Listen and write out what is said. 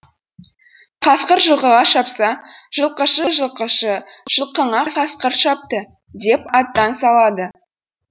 қасқыр жылқыға шапса жылқышы жылқышы жылқыңа қасқыр шапты деп аттан салады